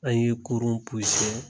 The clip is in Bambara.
An ye kurun